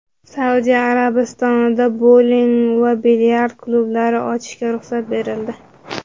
Saudiya Arabistonida bouling va bilyard klublari ochishga ruxsat berildi.